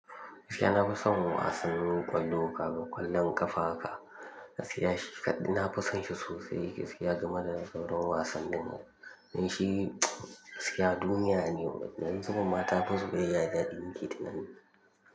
Gaskiya na fi son wasannin ƙwallo ka ga ƙwallon ƙafa haka, gaskiya shi kaɗi na fi son shi sosai gaskiya domin yana sauran wasanni. Nan shi gaskiya duniya ne, wadannan sukan matafi zuriyaya da dinki dinnan.